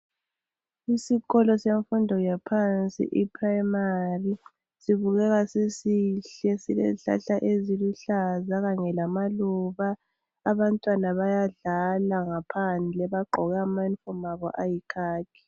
Isikolo semfundo yaphansi, iPrimary, sibukeka sisihle silezihlahla eziluhlaza kanye lamaluba, abantwana bayadlala ngaphandle bagqoke ama uniform abo ayikhakhi.